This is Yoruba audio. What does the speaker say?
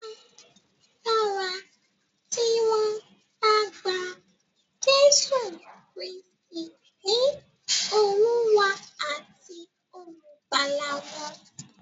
A dára tí wọ́n bá gba Jésù Kristì ní Olúwa àti Olùgbàlà wọn.